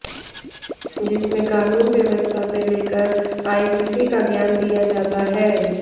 जिसमें कानून व्यवस्था से लेकर आईपीसी का ज्ञान दिया जाता है